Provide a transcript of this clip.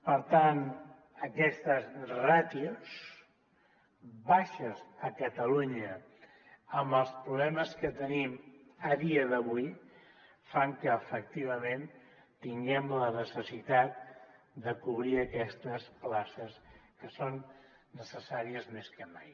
per tant aquestes ràtios baixes a catalunya amb els problemes que tenim a dia d’avui fan que efectivament tinguem la necessitat de cobrir aquestes places que són necessàries més que mai